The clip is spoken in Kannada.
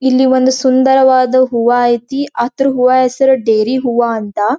ಇಲ್ಲಿ ಒಂದು ಸುಂದರವಾದ ಹೂವಾ ಐತಿ ಅದ್ರ ಹೂವಾ ಹೆಸರ್ ಡೇರಿ ಹೂವಾ ಅಂತ --